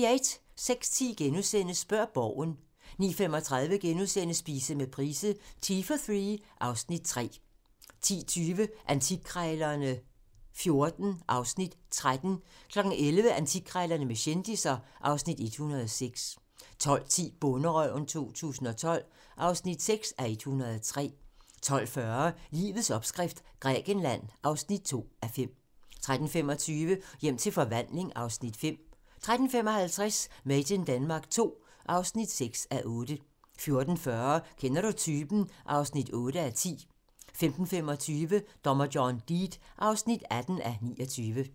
06:10: Spørg Borgen * 09:35: Spise med Price - Tea for three (Afs. 3)* 10:20: Antikkrejlerne XIV (Afs. 13) 11:00: Antikkrejlerne med kendisser (Afs. 106) 12:10: Bonderøven 2012 (6:103) 12:40: Livets opskrift - Grækenland (2:5) 13:25: Hjem til forvandling (Afs. 5) 13:55: Made in Denmark II (6:8) 14:40: Kender du typen? (8:10) 15:25: Dommer John Deed (18:29)